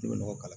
I bɛ nɔgɔ kala